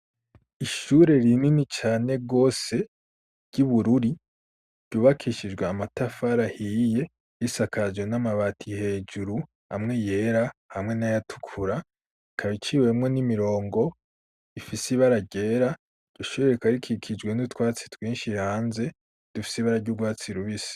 Ishure rinini cane rwose ry'i bururi ryubakishijwe amatafarahiye risakajwe n'amabati hejuru hamwe yera hamwe n'ayatukura kabaiciwemwo n'imirongo ifisi ibaragera ryoshireka rikikijwe n'utwatsi twinshi ranze dufisi baragwwa watsi rubisa.